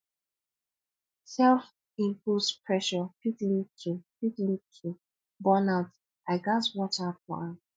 selfimposed pressure fit lead to fit lead to burnout i gats watch out for am